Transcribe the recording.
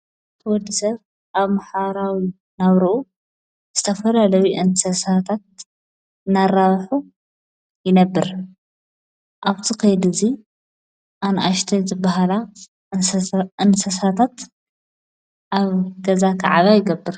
ወድሰብ ኣብ መሓራዊ ናብርኡ ዝተፈላ ለቢ እንሰሳታት ናራባኁ ይነብር ኣብቱ ኸይ ድዙይ ኣንኣሽተይ ዘበሃላ እንሰሳታት ኣብ ገዛ ኽዓባ ይገብር።